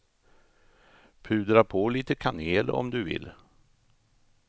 Pudra på lite kanel om du vill.